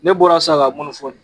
Ne bɔra sisan k'a kunafɔni